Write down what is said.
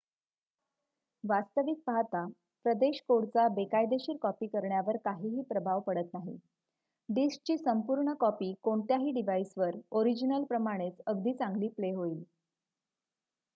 वास्तविक पाहता प्रदेश कोडचा बेकायदेशीर कॉपी करण्यावर काहीही प्रभाव पडत नाही डिस्कची संपूर्ण कॉपी कोणत्याही डिव्हाइसवर ओरिजिनल प्रमाणेच अगदी चांगली प्ले होईल